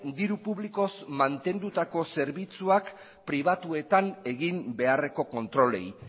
diru publikoz mantenutako zerbitzuak pribatuetan egin beharreko kontrolei